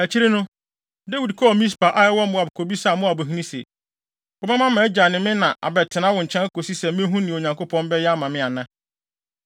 Akyiri no, Dawid kɔɔ Mispe a ɛwɔ Moab kobisaa Moabhene se, “Wobɛma mʼagya ne me na abɛtena wo nkyɛn kosi sɛ mehu nea Onyankopɔn bɛyɛ ama me ana?”